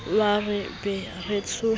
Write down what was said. wa re be re tsohe